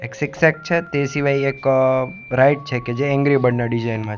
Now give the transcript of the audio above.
એક શિક્ષક છે તે સિવાય એક અ છે કે જે એન્ગરી બર્ડ ના ડિઝાયન માં--